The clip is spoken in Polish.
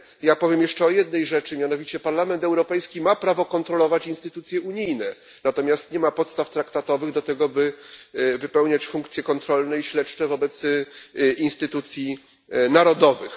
Ja powiem jeszcze o jednej rzeczy, mianowicie Parlament Europejski ma prawo kontrolować instytucje unijne, natomiast nie ma podstaw traktatowych do tego, by wypełniać funkcje kontrolne i śledcze wobec instytucji narodowych.